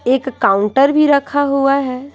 एक काउंटर भी रखा हुआ है।